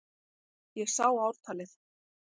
Ég sá ártalið!